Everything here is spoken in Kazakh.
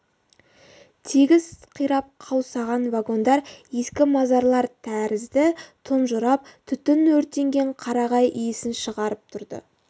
тегіс қирап қаусаған вагондар ескі мазарлар тәрізді тұнжырап түтін өртенген қарағай иісін шығарып тұрды